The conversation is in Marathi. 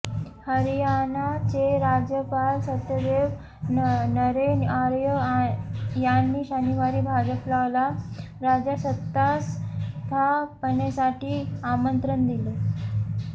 हरियाणाचे राज्यपाल सत्यदेव नरेन आर्य यांनी शनिवारी भाजपला राज्यात सत्तास्थापनेसाठी आमंत्रण दिले